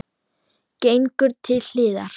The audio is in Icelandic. Gengur til hliðar.